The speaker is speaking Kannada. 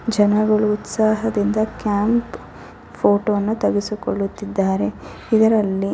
ಜನರು ಉತ್ಸಾಹದಿಂದ ಕ್ಯಾಂಪ್ ಫೋಟೋ ವನ್ನು ತೆಗೆಸಿಕೊಳ್ಳುತ್ತಿದ್ದರೆ ಇದರಲ್ಲಿ --